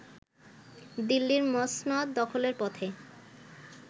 দিল্লির মসনদ দখলের পথে